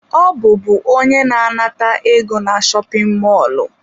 Ọ bụbu onye na-anata ego na shopin mọlụ.